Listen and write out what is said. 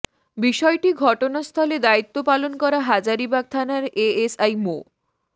বিষয়টি ঘটনাস্থলে দায়িত্ব পালন করা হাজারিবাগ থানার এএসআই মো